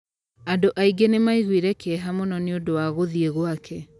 Andũ aingĩ nĩ maaiguire kĩeha mũno nĩ ũndũ wa gũthĩĩ gwake